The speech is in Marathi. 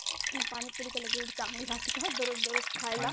आणि पाणीपुरी तरी एवढी चांगली राहते का रोज खायला?